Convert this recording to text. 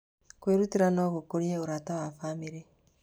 Kwĩrutĩra no gũkũrie ũrata wa bamĩrĩ.